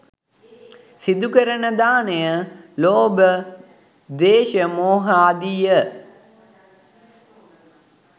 සිදුකෙරෙන දානය, ලෝභ, ද්වේශ, මෝහාදිය